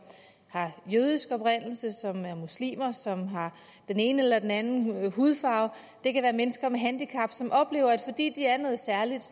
har jødisk oprindelse eller som er muslimer eller som har den ene eller den anden hudfarve det kan være mennesker med handicap som oplever at fordi de er noget særligt